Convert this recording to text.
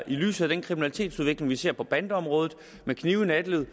i lyset af den kriminalitetsudvikling vi ser på bandeområdet med knive i nattelivet